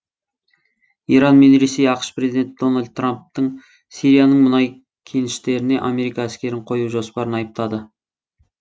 иран мен ресей ақш президенті дональд трамптың сирияның мұнай кеніштеріне америка әскерін қою жоспарын айыптады